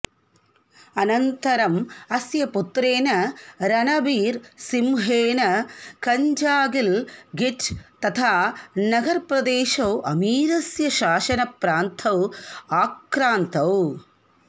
अनन्तरम् अस्य पुत्रेण रणबीर् सिंहेन हञ्झागिल् गिट् तथा नगर् प्रदेशौ अमीरस्य शासनप्रान्तौ आक्रान्तौ